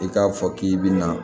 I k'a fɔ k'i bɛna